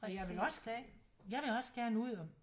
Og jeg vil også jeg vil også gerne ud og